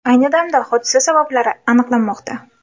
Ayni damda hodisa sabablari aniqlanmoqda.